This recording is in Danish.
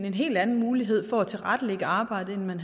en helt anden mulighed for at tilrettelægge arbejdet end